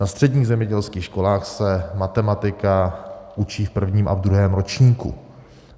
Na středních zemědělských školách se matematika učí v prvním a v druhém ročníku.